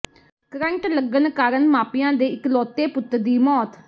current ਲੱਗਣ ਕਾਰਨ ਮਾਪਿਆਂ ਦੇ ਇਕਲੌਤੇ ਪੁੱਤ ਦੀ ਮੌਤ